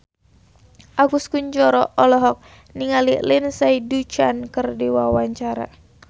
Agus Kuncoro olohok ningali Lindsay Ducan keur diwawancara